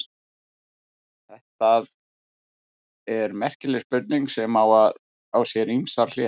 Þetta er merkileg spurning sem á sér ýmsar hliðar.